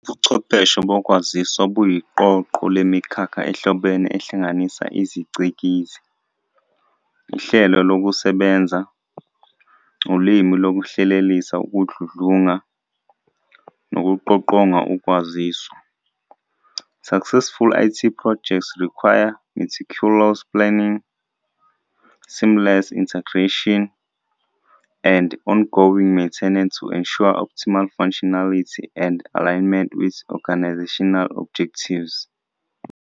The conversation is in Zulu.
Ubuchwepheshe bokwaziswa buyiqoqo lemikhakha ehlobene ehlanganisa iziCikizi, ihlelokusebenza, uLimi lokuhlelelisa ukudludlunga, nokuqoqonga ukwaziswa. Successful IT projects require meticulous planning, seamless integration, and ongoing maintenance to ensure optimal functionality and alignment with organizational objectives.